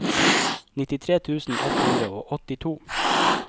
nittitre tusen ett hundre og åttito